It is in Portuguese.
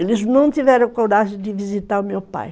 Eles não tiveram coragem de visitar o meu pai.